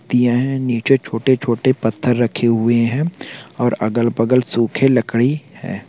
दिया है नीचे छोटे छोटे पत्थर रखे हुए है और अगल बगल सूखे लकड़ी है।